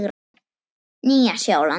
Nýja Sjáland